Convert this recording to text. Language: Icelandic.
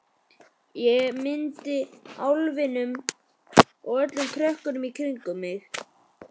Mynd af álfinum og öllum krökkunum í kring.